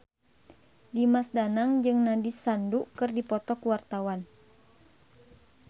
Dimas Danang jeung Nandish Sandhu keur dipoto ku wartawan